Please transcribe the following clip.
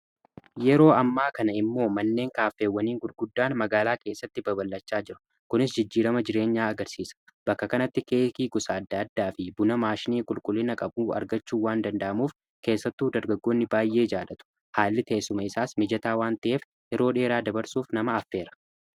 yeroo ammaa kana immoo manneen kaaffeewwaniin gulguddaan magaalaa keessatti babalachaa jira kunis jijjiirama jireenyaa agarsiisa bakka kanatti keekii gusaadaaddaa fi buna maashnii qulqullina qabuu argachuuwwaan danda'amuuf keessattuu dargagoonni baay'ee jaadatu haalli teessuma isaas mijataa waan ta'eef yeroo dheeraa dabarsuuf nama affeera